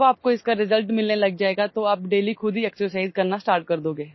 जब आपको इसका रिजल्ट मिलने लग जाएगा तो आप डेली खुद ही एक्सरसाइज करना स्टार्ट कर दोगे